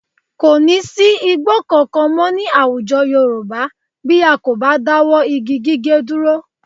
Kò ní sí igbó kankan mọ́ ní àwùjọ Yorùbá bí a kò bá dáwọ́ igi gíge dúró